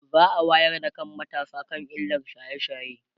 za'a wayar da kan matasa akan illar shaye shaye